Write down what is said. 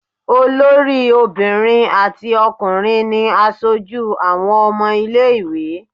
Olórí obìnrin àti ọkùnrin ni aṣojú àwọn ọmọ ilé-ìwé.